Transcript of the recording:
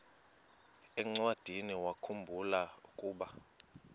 encwadiniwakhu mbula ukuba